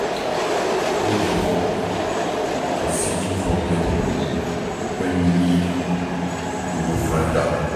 No give up on seeking for help when you need, you go find am